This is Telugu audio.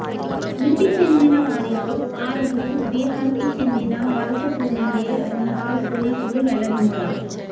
మృతి చెందిన వారిలో ఆరుగురు బిహార్కి చెందిన వలస కూలీలే ఉన్నట్టు పోలీసులు వెల్లడించారు